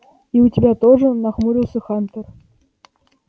и у тебя тоже нахмурился хантер